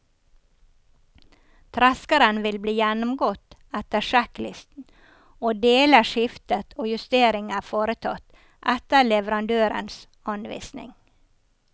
Treskeren vil bli gjennomgått etter sjekklisten og deler skiftet og justeringer foretatt etter leverandørens anvisning.